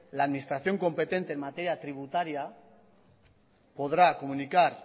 la administración competente en materia tributaria podrá comunicar